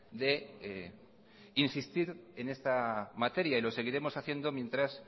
de insistir en esta materia y lo seguiremos haciendo mientras